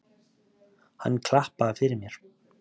Hann klappaði fyrir mér.